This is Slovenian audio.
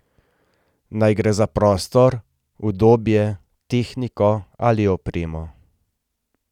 Naj gre za prostor, udobje, tehniko ali opremo.